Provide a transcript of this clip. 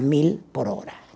mil por hora.